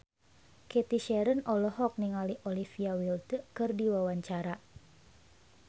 Cathy Sharon olohok ningali Olivia Wilde keur diwawancara